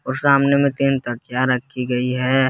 और सामने में तीन तकिया रखी गई है।